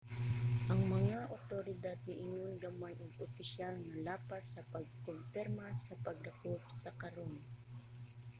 ang mga awtoridad niingon gamay og opisyal nga lapas sa pagkumpirma sa pagdakop karon